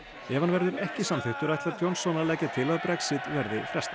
ef hann verður ekki samþykktur ætlar Johnson að leggja til að Brexit verði frestað